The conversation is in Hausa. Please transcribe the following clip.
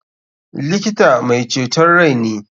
Likita mai ceton rai ne.